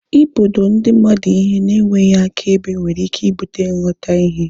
Ịbodo ndi mmadụ ihe na enweghị akaebe nwere ike ibute nghotahie